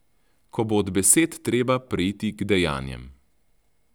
Ko bo od besed treba preiti k dejanjem.